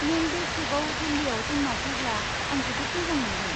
नों बे खेबाव दिवालीयाव जोंनाव फैब्ला आं जोबोद मोजां मोनगोन।